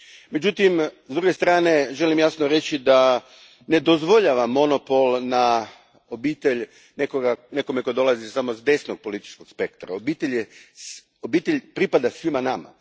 Međutim, s druge strane želim jasno reći da ne dozvoljavam monopol na obitelj nekome tko dolazi samo s desnog političkog spektra, obitelj pripada svima nama.